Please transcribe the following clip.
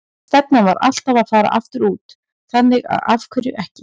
Stefnan var alltaf að fara aftur út, þannig að af hverju ekki?